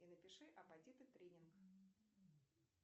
и напиши апатиты тренинг